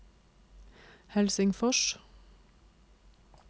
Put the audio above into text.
Helsingfors